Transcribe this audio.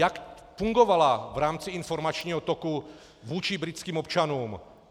Jak fungovala v rámci informačního toku vůči britským občanům?